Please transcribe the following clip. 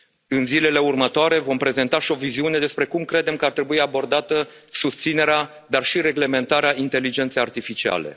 În zilele următoare, vom prezenta și o viziune despre cum credem că ar trebui abordată susținerea, dar și reglementarea inteligenței artificiale.